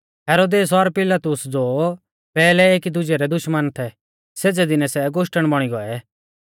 हेरोदेस और पिलातुस ज़ो पैहलै एकी दुजै रै दुश्मना थै सेज़ै दीनै सै गोश्टण बौणी गोऐ